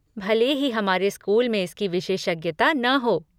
भले ही हमारे स्कूल में इसकी विशेषज्ञता न हो।